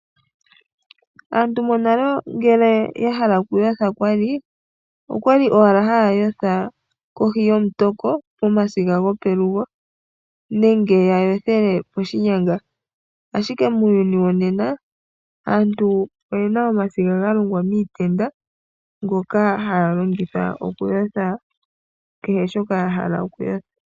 Aantu monale ngele ya hala oku yotha kwali, owala ha ya yotha, kohi yomutoko, pomadiga gopelugo, nenge ya yothele poshinyanga. Ashike muuyuni wonena, asntu oyena omadiga ga longwa miitenda ngoka ha ya longitha oku yotha kehe shoka ya hala oku yotha.